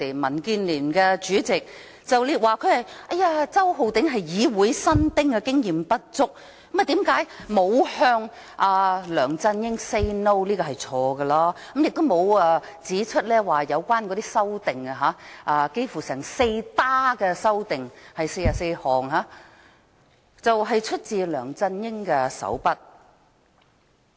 民建聯主席李慧琼議員很坦白地說：周浩鼎議員是議會新丁，經驗不足，所以沒有向梁振英 "say no"—— 她這樣說不對——周浩鼎議員沒有指出44項修訂出自梁振英的手筆。